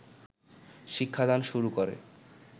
শিক্ষাদান শুরু করে